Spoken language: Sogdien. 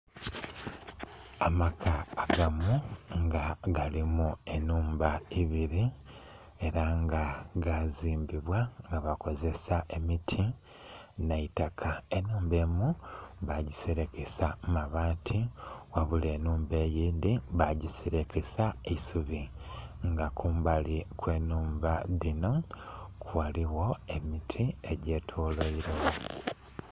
Amaka agamu nga galimu enhumba ibiri era nga gazimbibwa nga bakozesa ebiti n'eitaka, enhumba emu bagiserekesa mabaati wabula enhumba eyindhi bagiserekesa eisubi nga kumbali okwenhumba dhino ghaligho emiti egyetolwairegho.